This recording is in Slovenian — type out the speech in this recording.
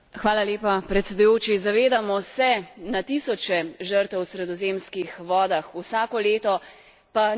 Zavedamo se na tisoče žrtev v sredozemskih vodah vsako leto, pa nič ne naredimo.